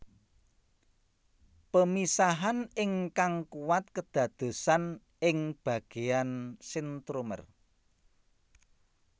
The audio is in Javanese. Pemisahan ingkang kuat kedadosan ing bagian sentromer